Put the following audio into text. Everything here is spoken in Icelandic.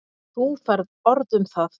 Þú færð orð um það.